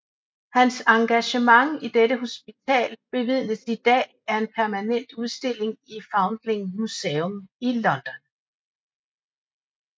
Hans engagement i dette hospital bevidnes i dag af en permanent udstilling i Foundling Museum i London